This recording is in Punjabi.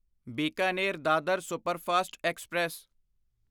Bikaner Dadar superfast express